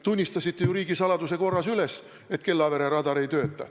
Tunnistasite ju riigisaladuse korras üles, et Kellavere radar ei tööta.